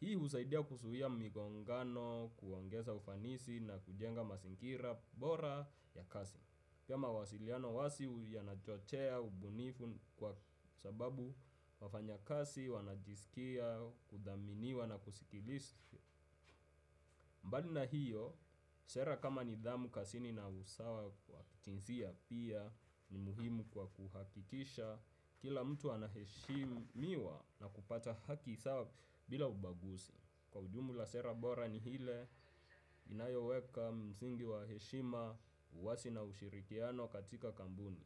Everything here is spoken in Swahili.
Hii husaidia kuzuia migongano, kuongeza ufanisi na kujenga mazingira bora ya kazi. Pia mawasiliano wazi yanachochea ubunifu kwa sababu wafanyakazi wanajisikia, kuthaminiwa na kusikilizwa. Mbali na hiyo, sera kama nidhamu kazini na usawa wa kijinsia pia ni muhimu kwa kuhakikisha. Kila mtu anaheshimiwa na kupata haki sawa bila ubaguzi. Kwa ujumla sera bora ni ile inayoweka msingi wa heshima, uwazi na ushirikiano katika kampuni.